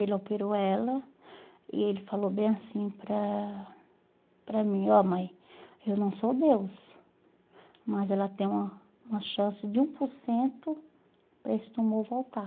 Ele operou ela e ele falou bem assim para para mim, ó mãe, eu não sou Deus, mas ela tem uma uma chance de um por cento para esse tumor voltar.